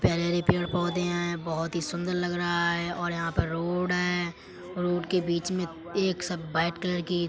पैरैरे पेड़ -पौधे हैं बोहोत ही सुन्दर लग रहा है और यहाँ पर रोड है रोड के बीच में एक सब वाइट कलर की--